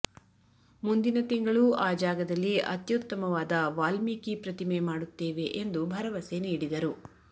ಮುಂದಿನ ತಿಂಗಳು ಆ ಜಾಗದಲ್ಲಿ ಅತ್ಯುತ್ತಮವಾದ ವಾಲ್ಮೀಕಿ ಪ್ರತಿಮೆ ಮಾಡುತ್ತೇವೆ ಎಂದು ಭರವಸೆ ನೀಡಿದರು